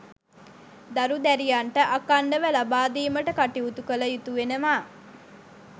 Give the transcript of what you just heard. දරු දැරියන්ට අඛණ්ඩව ලබාදීමට කටයුතු කළ යුතු වෙනවා.